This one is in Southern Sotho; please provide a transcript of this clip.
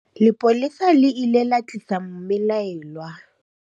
lepolesa le ile la tlisa mmelaelwa